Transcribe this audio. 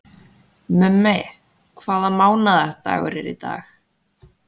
Mummi, hvaða mánaðardagur er í dag?